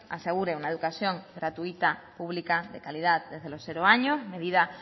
asegure una educación gratuita pública de calidad desde los cero años medidas